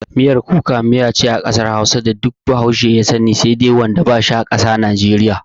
Miyar Kuka miya ce a kasar hausa da dukkan bahaushe ya sani, sai dai wanda bai ƙasa najeriya.